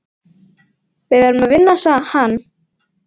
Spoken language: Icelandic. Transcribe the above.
Við verðum að vinna hann.